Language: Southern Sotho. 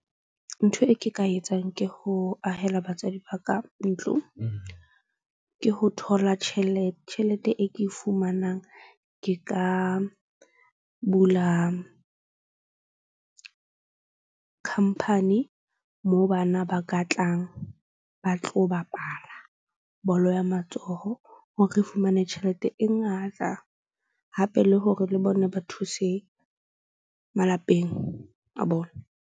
Ntho e ke ka etsang ke ho ahela batswadi ba ka ntlo. Ke ho thola tjhelete e ke e fumanang. Ke ka bula khampani moo bana ba ka tlang ba tlo bapala bolo ya matsoho. Hore re fumane tjhelete e ngata hape le hore le bona ba thuse malapeng a bona.